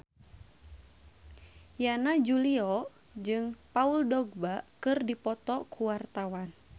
Yana Julio jeung Paul Dogba keur dipoto ku wartawan